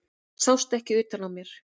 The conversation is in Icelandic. Það sást ekki utan á mér.